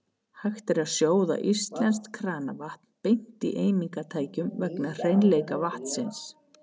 Hægt er að sjóða íslenskt kranavatn beint í eimingartækjum vegna hreinleika vatnsins.